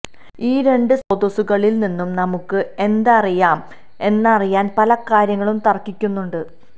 ഈ രണ്ട് സ്രോതസ്സുകളിൽ നിന്നും നമുക്ക് എന്തറിയാം എന്നറിയാൻ പല കാര്യങ്ങളും തർക്കിക്കുന്നുണ്ട്